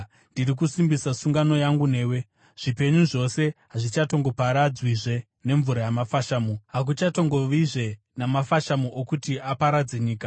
Ndiri kusimbisa sungano yangu newe: Zvipenyu zvose hazvichatongoparadzwizve nemvura yamafashamu; hakuchatongovizve namafashamu okuti aparadze nyika.”